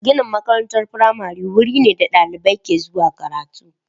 Ginin makarantar firamare wuri ne da dalibai ke zuwa karatu.